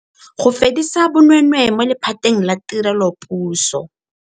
Go fedisa bonweenwee mo lephateng la tirelopuso.